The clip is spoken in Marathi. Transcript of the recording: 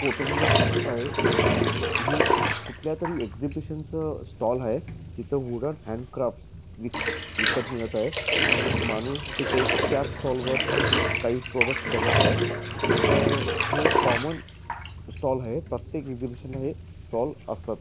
फोटोमध्ये दिसत आहे हे कुठल्यातरी एग्जीबिशन च स्टॉल आहे इथे वूडन हॅन्ड क्राफ्ट विकत मिळत आहे एक माणूस त्याच स्टॉलवर काही प्रॉडक्ट्स बघत आहे तर हे एक कॉमन स्टॉल आहे प्रत्येक एग्जीबिशन मध्ये स्टॉल असतात.